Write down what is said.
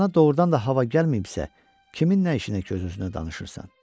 Başına doğurdan da hava gəlməyibsə, kimin nə işinə öz-özünə danışırsan?